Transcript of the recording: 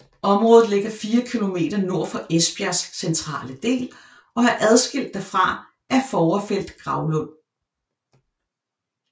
Området ligger fire kilometer nord for Esbjergs centrale del og er adskilt derfra af Fovrfeld Gravlund